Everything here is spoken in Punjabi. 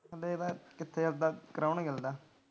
ਦੇਖਦਾ ਕਿੱਥੇ ਉਹਦਾ ਕਰਾਉਣਗੇ ਲਗਦਾ।